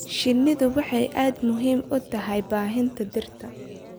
Shinnidu waxay aad muhiim ugu tahay baahinta dhirta.